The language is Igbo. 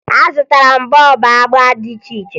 Azụtara m bọọbụ agba dị iche iche